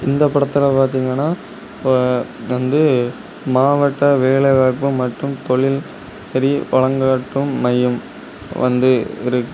இந்த படத்துல பாத்தீங்கன ஆ வந்து மாவட்ட வேலை வாய்ப்பு மற்றும் தொழில் நெறி வழங்காட்டும் மையம் வந்து இருக்கு.